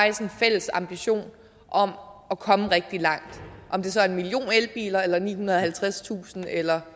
en fælles ambition om at komme rigtig langt om det så er en million elbiler eller nihundrede og halvtredstusind eller